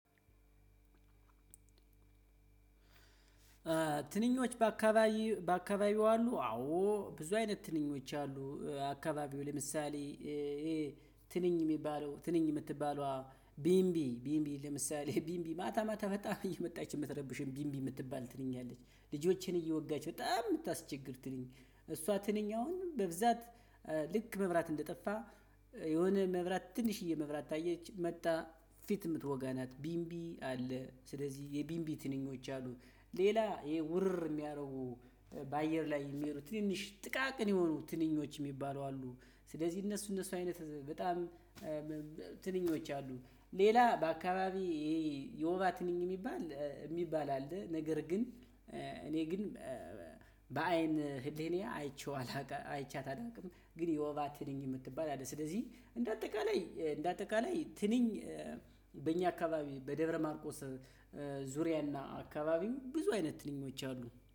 ትንኞች በአካባቢ በአካባቢው አሉ አዎ ብዙ አይነት ትንኞች አሉ አካባቢው ለምሳሌ። ትንኝ የምትባለዋ ቢንቢ ቢንቢ ለምሳሌ ቢንቢ ማታ ማታ በጣም እየመጣች የምትረብሸን ቢንቢ የምትባል ትንኛ አለች። ልጆችን እየወጋች በጣም የምታስቸግር ትንኝ እሷ ትነኝ አሁን በብዛት ልክ መብራት እንደጠፋ የሆነ መብራት ትንሽዬ መብራት ካየች መጣ ፊት የምትወጋ ናት። ቢንቢ አለ ስለዚህ የቢንቢ ትንኞች አሉ። ሌላ ይሄ ውርር የሚያደርጉ በአየር ላይ የሚሄዱ ትንንሽ ጥቃቅን የሆኑ ትንኞች የሚባሉ አሉ። ስለዚህ እነሱ እነሱ አይነት በጣም ትንኞች አሉ። ሌላ በአካባቢ ይሄ የውባ ትንኝ የሚባል የሚባል አለ። ነገር ግን እኔ ግን በአይን ህሊናዬ አይቼው አላቅ አይቻት አላውቅም። ግን የወባ ትንኝ የምትባል አለ ስለዚህ እንደ አጠቃላይ እንደ አጠቃላይ ትንኝ በእኛ አካባቢ በደብረ ማርቆስ ዙሪያና አካባቢም ብዙ አይነት ትንኞች አሉ